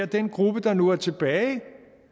den gruppe der nu er tilbage